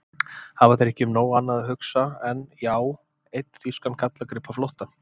Hafa þeir ekki um nóg annað að hugsa en. já, einn þýskan gallagrip á flótta?